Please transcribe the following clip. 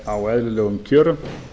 á eðlilegum kjörum